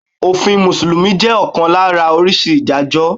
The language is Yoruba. Òfin Mùsùlùmí jẹ́ ọ̀kan lára oríṣi Ìdájọ́.